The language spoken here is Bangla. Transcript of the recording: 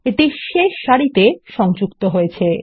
এটি শেষ সারিতে সংযুক্ত হয়েছে